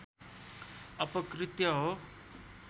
अपकृत्य हो